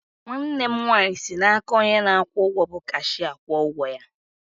Nwanne m nwaanyị si n'aka onye na-akwụ ụgwọ bụ cashịa kwụọ ụgwọ ya